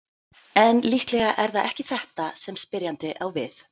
En líklega er það ekki þetta sem spyrjandi á við.